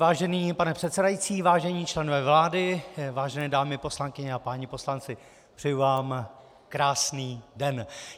Vážený pane předsedající, vážení členové vlády, vážené dámy poslankyně a páni poslanci, přeji vám krásný den.